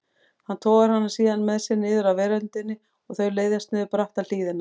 Hann togar hana síðan með sér niður af veröndinni og þau leiðast niður bratta hlíðina.